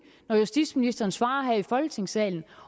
når justitsministeren svarer her i folketingssalen